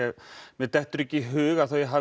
mér dettur ekki í hug að þau hafi